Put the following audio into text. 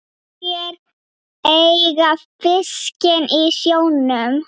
Hverjir eiga fiskinn í sjónum?